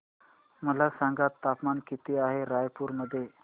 मला सांगा तापमान किती आहे रायपूर मध्ये